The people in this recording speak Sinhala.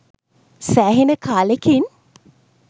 සෑහෙන කාලෙකින්